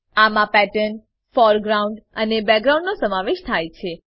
આમાં pattern foreground અને background નો સમાવેશ થાય છે